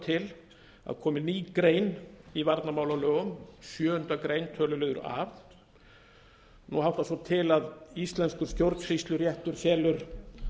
til að komi ný grein í varnarmálalögum sjöundu greinar töluliður a nú háttar svo til að íslenskur stjórnsýsluréttur felur